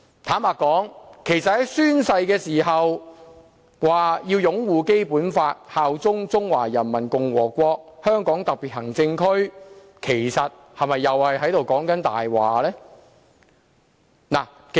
坦白說，在宣誓的時候說會擁護《基本法》，效忠中華人民共和國香港特別行政區，其實又是否說謊呢？